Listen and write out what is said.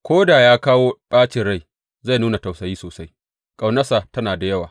Ko da ya kawo ɓacin rai, zai nuna tausayi sosai, ƙaunarsa tana da yawa.